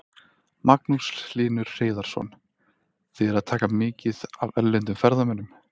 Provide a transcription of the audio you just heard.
Magnús Hlynur Hreiðarsson: Þið erum að taka mikið af erlendum ferðamönnum?